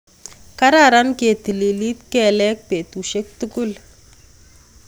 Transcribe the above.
kararan ketilili kelek betusiek tugul